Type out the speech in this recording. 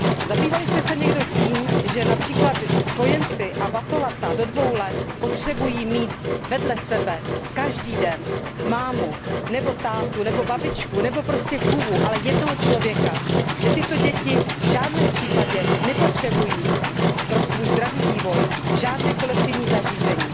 Zabývali jste se někdo tím, že například kojenci a batolata do dvou let potřebují mít vedle sebe každý den mámu nebo tátu nebo babičku nebo prostě chůvu, ale jednoho člověka a že tyto děti v žádném případě nepotřebují pro svůj zdravý vývoj žádné kolektivní zařízení.